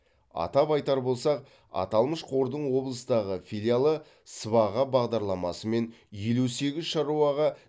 атап айтар болсақ аталмыш қордың облыстағы филиалы сыбаға бағдарламасымен елу сегіз шаруаға